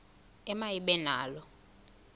ema ibe nalo